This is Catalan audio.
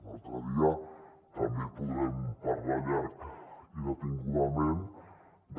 un altre dia també podrem parlar llarg i detingudament de